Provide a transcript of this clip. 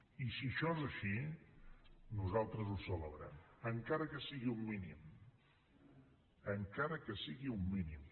i si això és així nosaltres ho celebrem encara que sigui un mínim encara que sigui un mínim